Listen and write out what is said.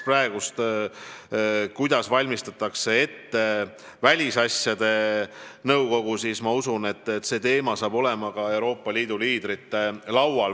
Vaadates, kuidas valmistutakse välisasjade nõukogus, usun, et see teema jõuab ka Euroopa Liidu liidrite lauale.